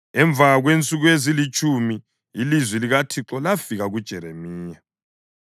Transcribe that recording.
Emva kwensuku ezilitshumi ilizwi likaThixo lafika kuJeremiya.